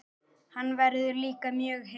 Hann verður líka mjög heitur.